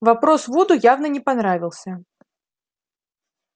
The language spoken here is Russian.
вопрос вуду явно не понравился